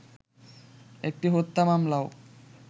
একটি হত্যা মামলাও